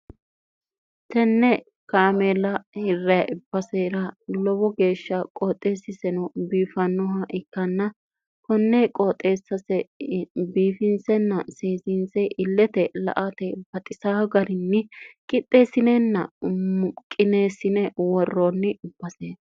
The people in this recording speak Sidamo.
tenne kaameela hirry ibbsera lowo geeshsha qooxeessiseno biifannoha ikkanna konnee qooxeessase biifinsenna seeziinse illete la ate baxisa garinni qixxeessinenna muqineessine worroonni ubbase